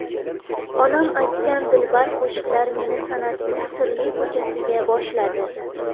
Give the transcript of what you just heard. Onam aytgan dilbar qo‘shiqlar meni san’atning sirli ko‘chasiga boshladi.